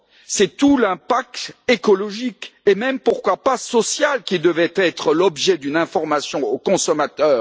C'est tout l'impact écologique et même, pourquoi pas, social qui devrait être l'objet d'une information au consommateur.